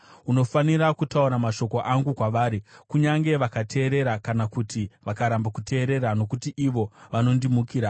Unofanira kutaura mashoko angu kwavari kunyange vakateerera kana kuti vakaramba kuteerera, nokuti ivo vanondimukira.